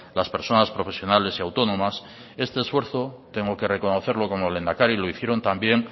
las personas profesionales y autónomas este esfuerzo tengo que reconocerlo como lehendakari lo hicieron también